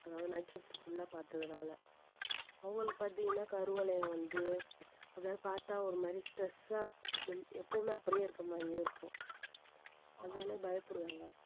அதாவது night shift full ஆ பார்த்ததுனால அவங்களுக்கு பார்த்தீங்கன்னா கருவளையம் வந்து அதாவது பாத்தா ஒரு மாதிரி stress ஆ அப்ப~ எப்பவுமே அப்படியே இருக்கற மாதிரியே இருக்கும் அதனாலே பயப்படுவாங்க.